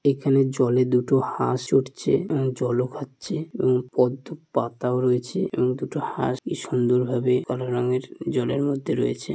এখানে জলে দুটো হাঁস চড়ছে আর জলও খাচ্ছে এবং পদ্ম পাতাও রয়েছে এবং দুটো হাঁস কি সুন্দর ভাবে কালো রঙের জলের মধ্যে রয়েছে।